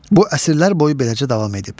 Bu əsrlər boyu beləcə davam edib.